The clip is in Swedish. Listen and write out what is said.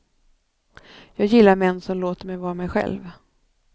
Jag gillar män som låter mig var mig själv.